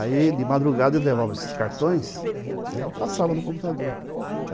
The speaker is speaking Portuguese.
Aí de madrugada eles levavam esses cartões, né, e passavam no computador. Ah...